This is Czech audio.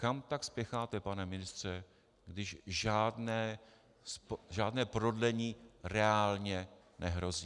Kam tak spěcháte, pane ministře, když žádné prodlení reálně nehrozí?